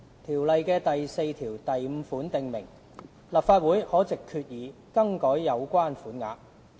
《條例》第45條訂明，立法會可藉決議更改有關款額。